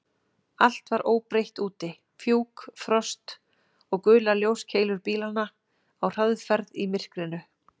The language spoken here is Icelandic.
Allt var óbreytt úti: fjúk, frost og gular ljóskeilur bílanna á hraðferð í myrkrinu.